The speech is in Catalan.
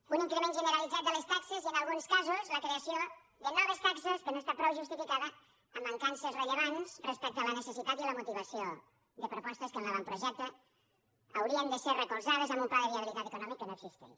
un increment generalitzat de les taxes i en alguns casos la creació de noves taxes que no està prou justificada amb mancances rellevants respecte a la necessitat i la motivació de propostes que en l’avantprojecte haurien de ser recolzades amb un pla de viabilitat econòmic que no existeix